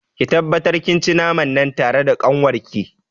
Ki tabbatar kin ci naman nan tare da kanwarki.